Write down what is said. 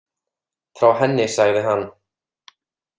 Frá henni, sagði hann.